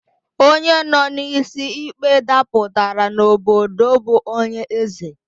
Onye nọ n'isi ikpe dapụtara n'obodo bụ onye eze